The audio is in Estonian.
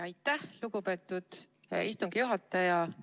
Aitäh, lugupeetud istungi juhataja!